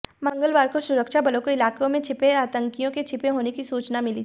मंगलवार को सुरक्षा बलों को इलाके में आतंकियों के छिपे होने की सूचना मिली थी